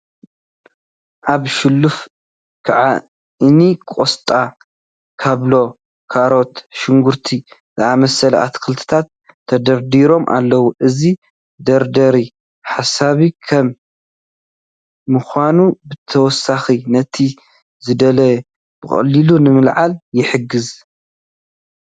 ኣብ ሸልፍ ከእ እኒ ቆስጣ፣ ካብሎ፣ ካሮት፣ ሽጉርቲ ዝኣምሰሉ ኣትክልትታት ተደርዲሮም ኣለዉ፡፡ እዚ መደርደሪ ሰሓቢ ካብ ምዃኑ ብተወሳኺ ነቲ ዝድለ ብቐሊሉ ንምልዓል ይሕግዝ፡፡